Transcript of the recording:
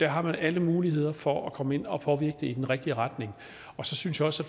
har alle muligheder for at komme ind og påvirke det i den rigtige retning så synes jeg også